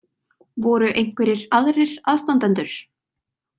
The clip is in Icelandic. Voru einhverjir aðrir aðstandendur?